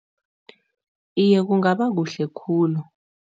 Iye, kungaba kuhle khulu.